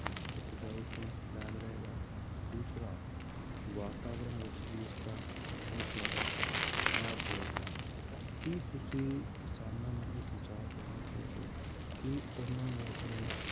ਉਪਜਾਊਪੁਣਾ ਕਾਇਮ ਰਹੇਗਾ ਦੂਸਰਾ ਵਾਤਾਵਰਨ ਵਿੱਚ ਵੀ ਇਸਦਾ ਬਹੁਤ ਜ਼ਿਆਦਾ ਲਾਭ ਹੋਏਗਾ ਕੀ ਤੁਸੀਂ ਕਿਸਾਨਾਂ ਨੂੰ ਇਹ ਸੁਝਾਅ ਦੇਣਾ ਚਾਹੋਗੇ ਕਿ ਉਹਨਾਂ ਨੂੰ ਆਪਣੀਆਂ